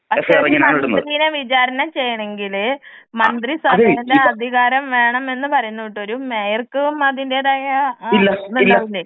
പക്ഷെ ഒരു മന്ത്രീനെ വിചാരണ ചെയ്യണമെങ്കില് മന്ത്രിസഭയുടെ അധികാരം വേണമെന്ന് പറയുന്ന കേട്ടു ഒരു മേയർക്കും അതിന്റെതായ ആ ഇതിണ്ടാകൂലെ.